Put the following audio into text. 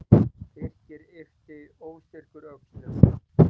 Birkir yppti óstyrkur öxlum.